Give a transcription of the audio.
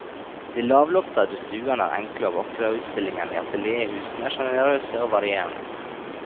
De lavloftede stuene er enkle og vakre og utstillingene i atelierhusene generøse og varierende.